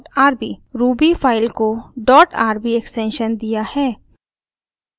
ruby file को dot rb extension दिया है